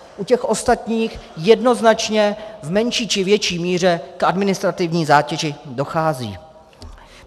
U těch ostatních jednoznačně v menší či větší míře k administrativní zátěži dochází.